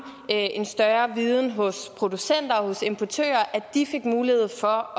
en større viden hos producenter og hos importører at de fik mulighed for